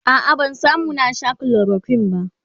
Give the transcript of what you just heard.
a'a ban samu na Sha chloroquine ba